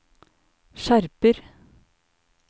skjerper